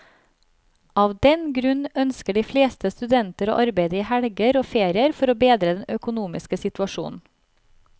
Av den grunn ønsker de fleste studenter å arbeide i helger og ferier for å bedre den økonomiske situasjonen.